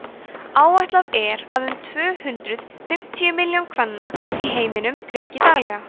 áætlað er að um tvö hundruð fimmtíu milljónir kvenna í heiminum reyki daglega